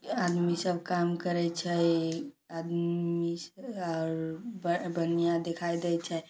ये आदमी सब काम करय छै। आदमी और देखाय दे छै।